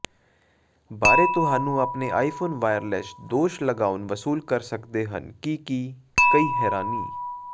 ਬਾਰੇ ਤੁਹਾਨੂੰ ਆਪਣੇ ਆਈਫੋਨ ਵਾਇਰਲੈੱਸ ਦੋਸ਼ ਲਗਾਉਣ ਵਸੂਲ ਕਰ ਸਕਦੇ ਹਨ ਕਿ ਕੀ ਕਈ ਹੈਰਾਨੀ